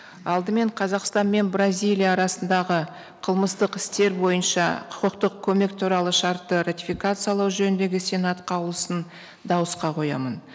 алдымен қазақстан мен бразилия арасындағы қылмыстық істер бойынша құқықтық көмек туралы шартты ратификациялау жөніндегі сенат қаулысын дауысқа қоямын